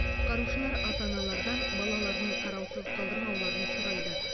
құтқарушылар ата аналардан балаларын қараусыз қалдырмауларын сұрайды